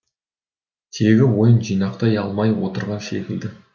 тегі ойын жинақтай алмай отырған секілді